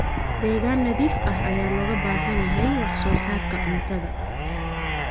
Deegaan nadiif ah ayaa looga baahan yahay wax soo saarka cuntada.